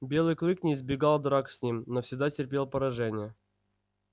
белый клык не избегал драк с ним но всегда терпел поражение